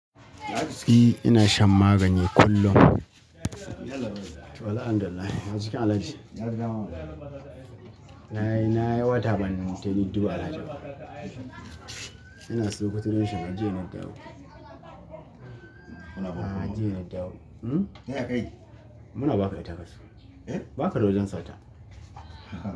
Ni ina shan magani kullum. Wallahi alhamdulillah ya jikin Alhaji. Na yi, na yi wata ban tafi na dubu Alhaji ba. Ina saukuta ni shiga jiya na dawo. A jiya na dawo. Hm? Muna ba ka ita kasu. Ba ka wajen sata.